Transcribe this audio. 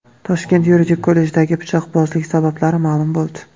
Toshkent yuridik kollejidagi pichoqbozlik sabablari ma’lum bo‘ldi .